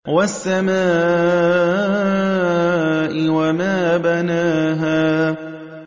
وَالسَّمَاءِ وَمَا بَنَاهَا